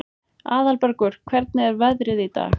Aðalbergur, hvernig er veðrið í dag?